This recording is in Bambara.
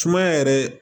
Sumaya yɛrɛ